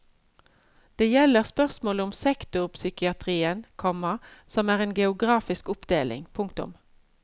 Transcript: Det gjelder spørsmålet om sektorpsykiatrien, komma som er en geografisk oppdeling. punktum